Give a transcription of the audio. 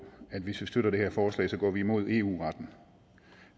at hvis vi støtter det her forslag går vi imod eu retten